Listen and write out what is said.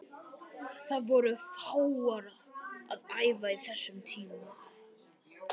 Það voru fáir að æfa á þessum tíma.